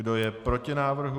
Kdo je proti návrhu?